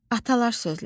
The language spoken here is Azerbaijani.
Atalar sözləri.